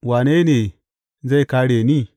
Wane ne zai kāre ni?